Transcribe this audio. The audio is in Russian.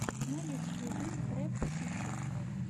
на ютьюбе трэп сити